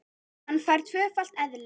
Hann fær tvöfalt eðli.